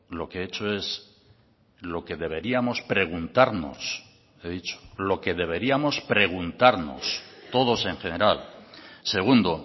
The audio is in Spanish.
lo que he hecho es lo que deberíamos preguntarnos he dicho lo que deberíamos preguntarnos todos en general segundo